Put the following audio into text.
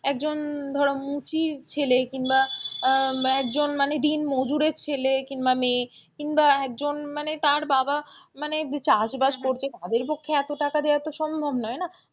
একজন ধরো মুচির ছেলে কিংবা আহ একজন মানে দিনমজুরের ছেলে কিংবা মেয়ে কিংবা একজন মানে তার বাবা মানে চাষবাস করছে তাদের পক্ষে এত টাকা দেওয়া তো সম্ভব নয় না,